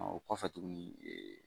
o kɔfɛ tuguni